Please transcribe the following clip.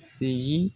Segin